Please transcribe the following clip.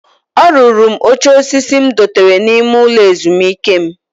O ruru m oche osisi m dotere n'ime ulo ezumike m.